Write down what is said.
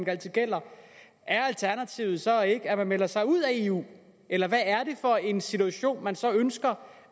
altid gælder er alternativet så ikke at man melder sig ud af eu eller hvad er det for en situation man så ønsker